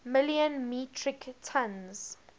million metric tons